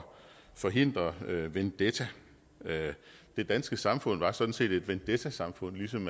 forhindre vendetta det danske samfund var sådan set et vendettasamfund ligesom